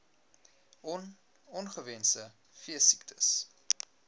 on ongewenste veesiektes